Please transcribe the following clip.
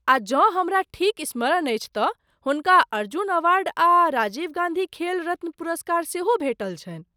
आ जँ हमरा ठीक स्मरण अछि तँ हुनका अर्जुन अवार्ड आ राजीव गान्धी खेल रत्न पुरस्कार सेहो भेटल छनि।